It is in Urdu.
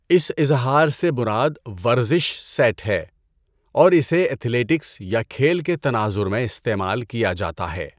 اس اظہار سے مراد 'ورزش سیٹ' ہے اور اسے ایتھلیٹکس یا کھیل کے تناظر میں استعمال کیا جاتا ہے۔